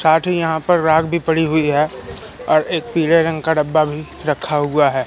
साथी यहां पर राख भी पड़ी हुई है और एक पीले रंग का डब्बा भी रखा हुआ है।